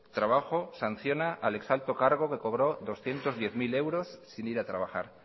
trabajo sanciona al ex alto cargo que cobró doscientos diez mil euros sin ir a trabajar